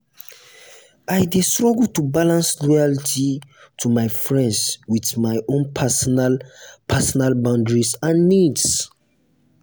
i dey struggle to balance loyalty to my friends with my own personal personal boundaries and needs.